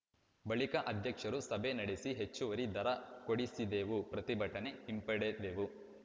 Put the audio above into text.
ಬಳಿಕ ಅಧ್ಯಕ್ಷರು ಸಭೆ ನಡೆಸಿ ಹೆಚ್ಚುವರಿ ದರ ಕೊಡಿಸಿದೆವು ಪ್ರತಿಭಟನೆ ಹಿಂಪಡೆದೆವು